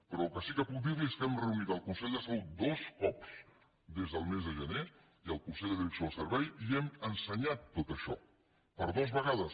però el que sí que puc dir li és que hem reunit el consell de salut dos cops des del mes de gener i el consell de direcció del servei i hem ensenyat tot això per dues vegades